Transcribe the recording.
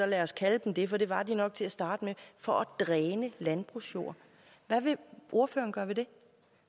lad os kalde dem det for det var de nok til at starte med for at dræne landbrugsjord hvad vil ordføreren gøre ved det